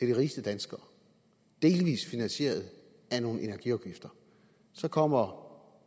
de rigeste danskere delvis finansieret af nogle energiafgifter så kommer